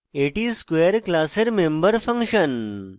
এটি square class member function